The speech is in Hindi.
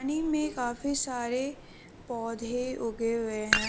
नदी में काफी सारे पौधे उगे हुए हैं।